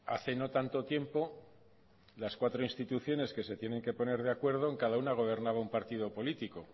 hace no tanto tiempo las cuatro instituciones que se tienen que poner de acuerdo en cada uno gobernaba un partido político